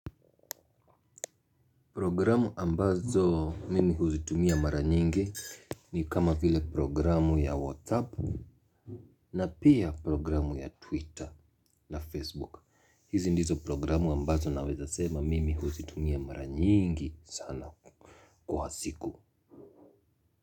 Programu ambazo mimi huzitumia mara nyingi ni kama vile programu ya WhatsApp na pia programu ya Twitter na Facebook. Hizi ndizo programu ambazo naweza sema mimi huzitumia mara nyingi sana kwa siku.